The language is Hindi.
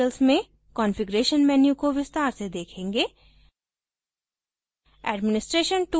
हम अगले tutorials में configuration menu को विस्तार से देखेंगे